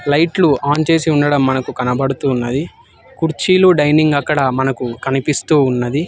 లైట్లు ఆన్ చేసి ఉండడం మనకు కనబడుతూ ఉన్నది కుర్చీలో డైనింగ్ అక్కడ మనకు కనిపిస్తూ ఉన్నది.